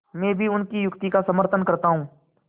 मैं भी उनकी युक्ति का समर्थन करता हूँ